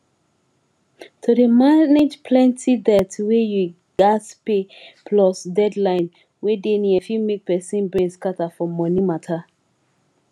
to dey manage plenti debt wey you gats pay plus deadline wey dey near fit make pesin brain scatter for money mata